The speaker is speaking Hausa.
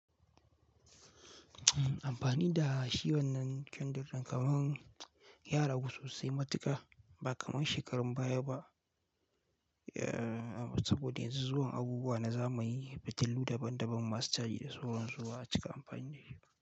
Amfani da shi wannan kandir din kamar ya rsgu sosai matuka ba kamar shekarun baya ba. Saboda yanzu zuwan abubuwa na zamani fitilu daban daban masu caji da sauran su ba, a cika amfani da shi.